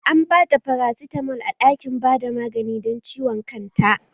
An bata farasitamol a ɗakin bada magani don ciwon kanta